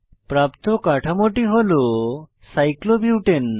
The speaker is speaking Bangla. প্রাপ্ত কাঠামোটি হল সাইক্লোবিউটেন